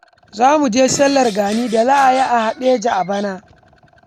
Za mu je sallar gani da za yi a Haɗeja a bana